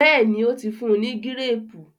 béèni o tí fún ní Gírèèpù.